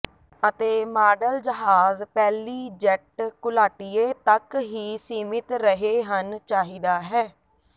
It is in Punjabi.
ਅਤੇ ਮਾਡਲ ਜਹਾਜ਼ ਪਹਿਲੀ ਜੈੱਟ ਘੁਲਾਟੀਏ ਤੱਕ ਹੀ ਸੀਮਿਤ ਰਹੇ ਹਨ ਚਾਹੀਦਾ ਹੈ